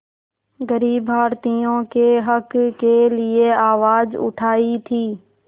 ग़रीब भारतीयों के हक़ के लिए आवाज़ उठाई थी